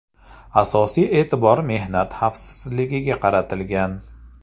Asosiy e’tibor mehnat xavfsizligiga qaratilgan.